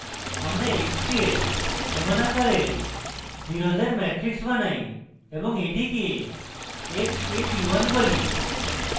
আমরা x k we সমান আকারের zeros matrix বানাই এবং এটিকে x k p 1 বলি